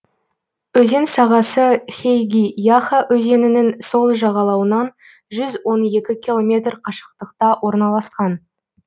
өзен сағасы хейги яха өзенінің сол жағалауынан жүз он екі километр қашықтықта орналасқан